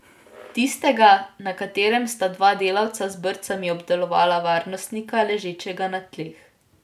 Tistega, na katerem sta dva delavca z brcami obdelovala varnostnika, ležečega na tleh.